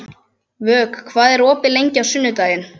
Vök, hvað er opið lengi á sunnudaginn?